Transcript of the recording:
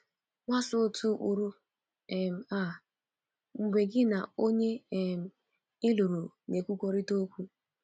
Gbasoo otu ụkpụrụ um a mgbe gị na onye um ị lụrụ na - ekwurịta okwu.